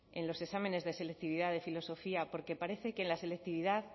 en los exámenes de selectividad de filosofía porque parece que en la selectividad